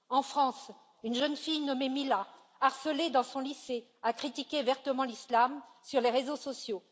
En France, une jeune fille nommée Mila, harcelée dans son lycée, a critiqué vertement l'islam sur les réseaux sociaux.